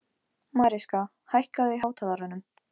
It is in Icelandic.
Mariska, hækkaðu í hátalaranum.